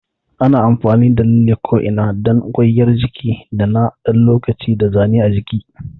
Ana amfani da lalle ko'ina dan kwaiyar jiki na ɗan lokaci da zane a jiki.